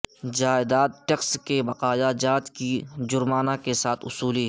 جائیداد ٹیکس کے بقایا جات کی جرمانہ کے ساتھ وصولی